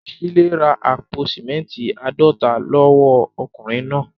Shílé ra àpò símẹ́ńtì àádọ́ta lọ́wọ́ ọkùnrin náà.